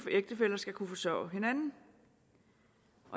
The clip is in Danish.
ægtefæller skal kunne forsørge hinanden